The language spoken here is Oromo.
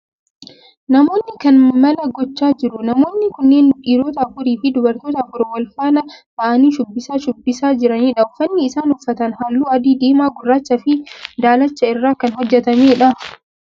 Namoonni kan maal gochaa jiru? Namoonni kunneen dhiirota afuri fi dubartoota afur wal faana ta'aanii shubbisa shubbisaa jiranidha. uffanni isaan uffatan halluu adii, diimaa, gurraacha fi daalacha irraa kan hojjetame dha.